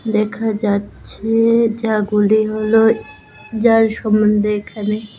দেখা যাচ্ছে যা গুলে হলো যার সম্বন্ধে এখানে--